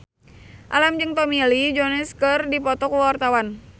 Alam jeung Tommy Lee Jones keur dipoto ku wartawan